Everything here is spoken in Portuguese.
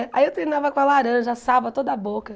Aí eu treinava com a laranja, assava toda a boca.